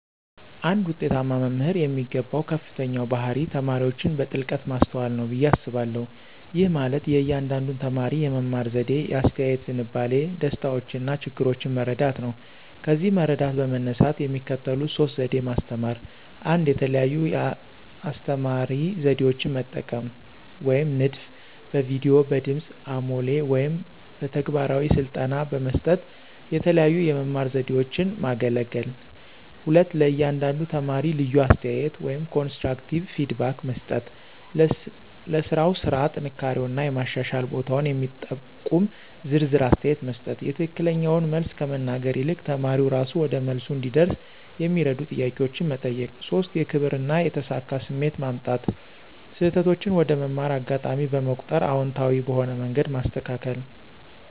አንድ ውጤታማ መምህር የሚገባው ከፍተኛው ባህሪ ተማሪዎችን በጥልቀት ማስተዋል ነው ብዬ አስባለሁ። ይህ ማለት የእያንዳንዱን ተማሪ የመማር ዘዴ፣ የአስተያየት ዝንባሌ፣ ደስታዎችና ችግሮች መረዳት ነው። ከዚህ መረዳት በመነሳት የሚከተሉት ሶስት ዘዴ ማስተማራ 1, የተለያዩ የአስተማራ ዘዴዎችን መጠቀም (ንድፍ)፣ በቪዲዮ፣ በድምጽ አሞሌ ወይም በተግባራዊ ስልጠና በመስጠት የተለያዩ የመማር ዘዴዎችን ማገለገል። 2, ለእያንዳንዱ ተማሪ ልዩ አስተያየት (ኮንስትራክቲቭ ፊድባክ) መስጠት · ለሥራው ስራ ጥንካሬውና የማሻሻል ቦታውን የሚጠቁም ዝርዝር አስተያየት መስጠት።· የትክክለኛውን መልስ ከመናገር ይልቅ ተማሪው እራሱ ወደ መልሱ እንዲደርስ የሚረዱ ጥያቄዎችን መጠየቅ። 3, የክብር እና የተሳካ ስሜት ማምጣት· ስህተቶችን እንደ መማር አጋጣሚ በመቁጠር አዎንታዊ በሆነ መንገድ ማስተካከል።